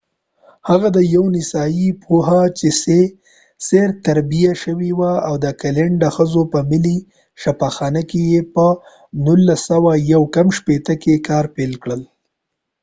هغه د یوه نسایي پوه په څیر تربیه شوی وو او د اکلینډ د ښځو په ملي شفاخانه کې یې په 1959 کې کار پيل کړل